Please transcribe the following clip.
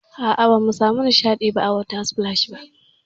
A'a, bamu samu nishaɗi a water splash ba.